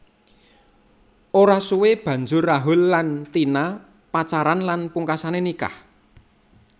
Ora suwe banjur Rahul lan Tina pacaran lan pungkasane nikah